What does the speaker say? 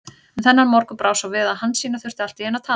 En þennan morgun brá svo við að Hansína þurfti allt í einu að tala.